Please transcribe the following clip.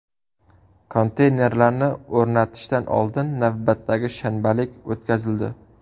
Konteynerlarni o‘rnatishdan oldin navbatdagi shanbalik o‘tkazildi.